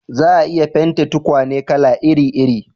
Za a iya fentin tukwane kala iri iri